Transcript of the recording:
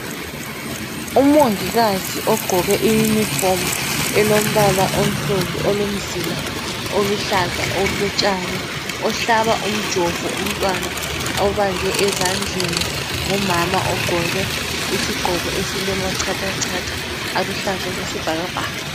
Umongikazi ogqoke iuniform elombala onsundu olomzila oluhlaza okotshani uhlaba umjovo umtwana obanjwe ezandlen ngumama ogqoke isigqoko esilama chatha chatha aluhlaza okwesibhalabhaka